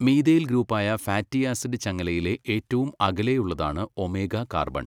methyl group ആയ fatty acid ചങ്ങലയിലെ ഏറ്റവും അകലെയുള്ളതാണ് ഒമേഗ കാർബൺ